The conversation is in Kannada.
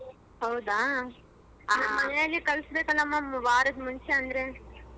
ಹೌದಾ ನಮ್ಮನೇಲಿ ಕಳಿಸಬೇಕಾಳಮ್ಮ ಒಂದವರಾದ ಮುಂಚೆ ಅಂದ್ರೆ.